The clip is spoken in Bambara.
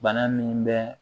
Bana min bɛ